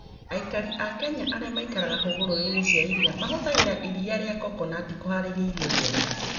Andũ a Kenya arĩa maikaraga hũgũrũrũ-inĩ cia iria mahũthagĩra iria rĩa coconut kũhaarĩria irio njega.